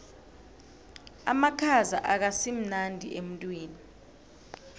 amakhaza akasimnandi emtwini